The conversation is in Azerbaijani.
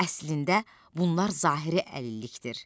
Əslində bunlar zahiri əlillikdir.